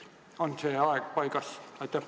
On see aeg paigas?